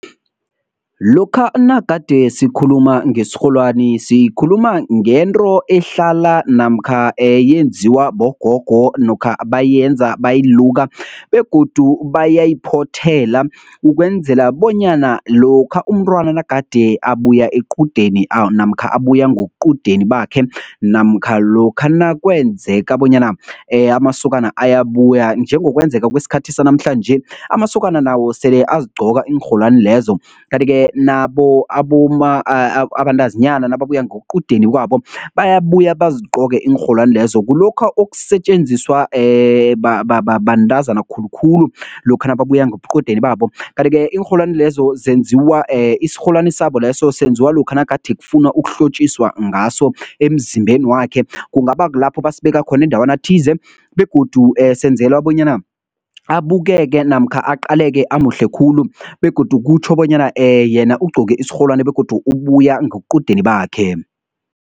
Lokha nagade sikhuluma ngesirholwani, sikhuluma ngento ehlala namkha yenziwa bogogo nokha bayenza bayiluka begodu bayayiphothela ukwenzela bonyana lokha umntwana nagade abuya equdeni namkha abuya ngoqudeni bakhe namkha lokha nakwenzeka bonyana amasokana ayabuya njengokwenzeka kwesikhathi sanamhlanje amasokana nawo sele azigqoka iinrholwani lezo. Kanti-ke nabo abantazinyana nababuya ngoqudeni kwabo bayabuya bazigqoke iinrholwani lezo kulokha okusetjenziswa bantazana khulukhulu lokha nababuya ngobuqudeni babo. Kanti-ke iinrholwani lezo zenziwa isirholwani sabo leso senziwa lokha nagade kufunwa ukuhlotjiswa ngaso emzimbeni wakhe kungaba kulapho basibeka khona endawana thize begodu senzelwa bonyana abukeke namkha aqaleke amuhle khulu begodu kutjho bonyana yena ugcoke isirholwani begodu ubuya ngoqudeni bakhe.